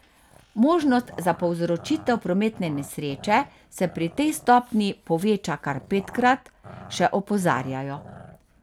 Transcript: Možnost za povzročitev prometne nesreče se pri tej stopnji poveča kar petkrat, še opozarjajo.